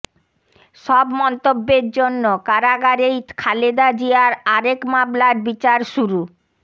সব মন্তব্যের জন্য কারাগারেই খালেদা জিয়ার আরেক মামলার বিচার শুরু